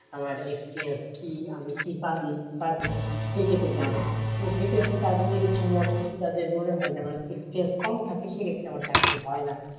আমার experience কি আমি কি পারি কি পারি না, সেই ক্ষেত্রে জানাই, তো সেই ক্ষেত্রে তাদের ইচ্ছা মতো তাদের মনে হয় যে আমার experience কম থাকে তো সেই ক্ষেত্রে আমার চাকরি হয় না,